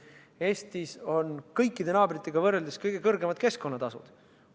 Eestis on kõikide naabritega võrreldes kõige suuremad keskkonnatasud.